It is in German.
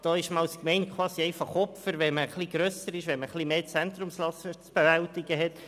da sei man als Gemeinde quasi Opfer, wenn man etwas höhere Zentrumslasten zu bewältigen hat.